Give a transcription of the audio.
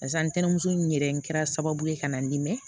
Barisa ntɛnɛnso in yɛrɛ kɛra sababu ye ka na n bɛ